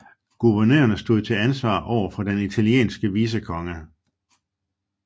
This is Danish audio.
Guvernørerne stod til ansvar overfor den italienske vicekonge